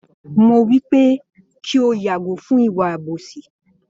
Mo wípé kí o yàgò fún ìwà àbòsí